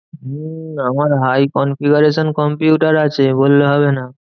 হম আমার high configuration computer আছে বললে হবে না।